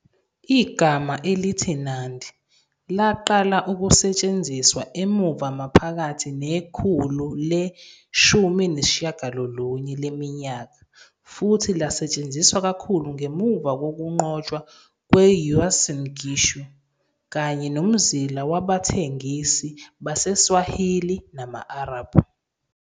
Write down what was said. Igama elithi Nandi laqala ukusetshenziswa emuva maphakathi nekhulu le-19 leminyaka futhi lasetshenziswa kakhulu ngemuva kokunqotshwa kwe- Uasin Gishu kanye nomzila wabathengisi baseSwahili nabama-Arab.